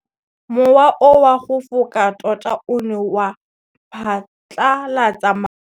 Mowa o wa go foka tota o ne wa phatlalatsa maru.